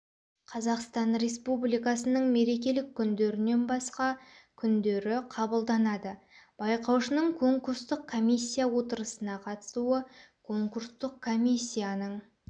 қазақстан республикасының мерекелік күндерінен басқа күндері қабылданады байқаушының конкурстық комиссия отырысына қатысуы конкурстық комиссияның